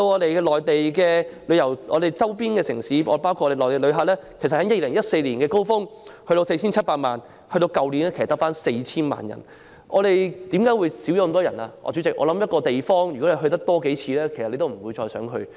可是，來自周邊城市包括內地的旅客，在2014年的高峰期有 4,700 萬人次，但去年卻只有 4,000 萬人次。主席，任何地方去了數次，自然不會想再去。